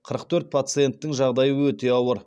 қырық төрт пациенттің жағдайы өте ауыр